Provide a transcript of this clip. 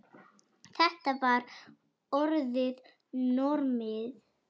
Þetta var orðið normið.